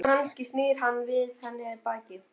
Hann gat ekki skilið í hvað ég var sokkin.